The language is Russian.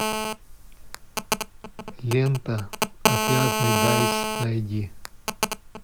лента отвязный дайс найди